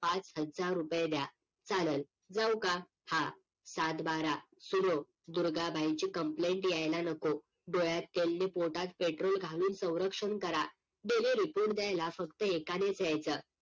पाच हजार रुपय द्या चालल जाऊ का? हा सातबारा सुनो दुर्गाबाईंची COMPLAINT येयला नको डोळ्यात तेल नी पोटात पेट्रोल घालून सवरक्षण करा daily report द्यायला फक्त एकानेच येयचं